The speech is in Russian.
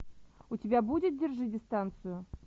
у тебя будет держи дистанцию